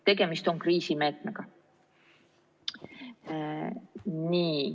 Tegemist on kriisimeetmega.